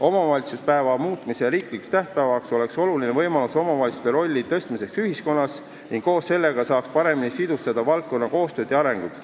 Omavalitsuspäeva muutmine riiklikuks tähtpäevaks oleks oluline võimalus omavalitsuste rolli ühiskonnas suurendada ning koos sellega saaks paremini sidustada valdkonna koostööd ja arengut.